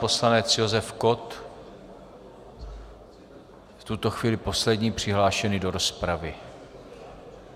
Poslanec Josef Kott, v tuto chvíli poslední přihlášený do rozpravy.